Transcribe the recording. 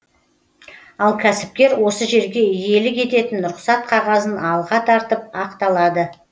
ал кәсіпкер осы жерге иелік ететін рұқсат қағазын алға тартып ақталады